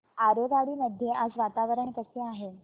आरेवाडी मध्ये आज वातावरण कसे आहे